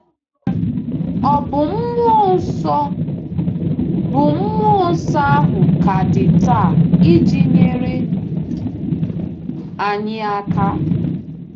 Ọ̀ bụ Mmụọ Nsọ bụ Mmụọ Nsọ ahụ ka dị taa iji nyere anyị aka?